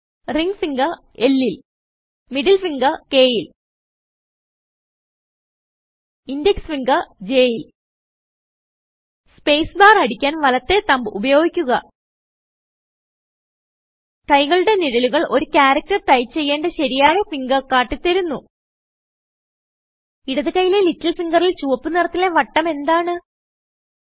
ring finger Lൽ middle ഫിംഗർKൽ index ഫിംഗർJൽ സ്പേസ് ബാർ അടിക്കാൻ വലത്തേ തംബ് ഉപയോഗിക്കുക കൈകളുടെ നിഴലുകൾ ഒരു ചാരട്ടർ ടൈപ്പ് ചെയ്യേണ്ട ശരിയായ ഫിംഗർ കാട്ടി തരുന്നു ഇടത് കൈയിലെ ലിറ്റിൽ ഫിംഗറിൽ ചുവപ്പ് നിറത്തിലെ വട്ടം എന്താണ്160